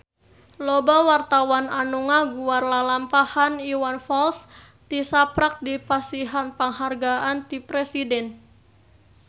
Loba wartawan anu ngaguar lalampahan Iwan Fals tisaprak dipasihan panghargaan ti Presiden